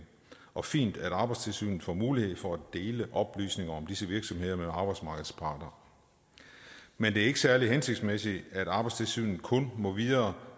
og fint at arbejdstilsynet får mulighed for at dele oplysninger om disse virksomheder med arbejdsmarkedets parter men det er ikke særlig hensigtsmæssigt at arbejdstilsynet kun må videregive